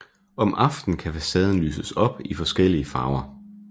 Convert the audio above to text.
Om aftenen kan facaden lyses op i forskellige farver